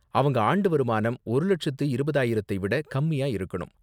அவங்க ஆண்டு வருமானம் ஒரு லட்சத்து இருபதாயிரத்தை விட கம்மியா இருக்கணும்.